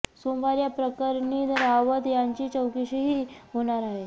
सोमवारी या प्रकरणी रावत यांची चौकशीही होणार आहे